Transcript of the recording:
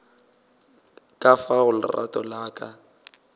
ka fao lerato la ka